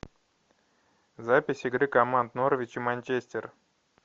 запись игры команд норвич и манчестер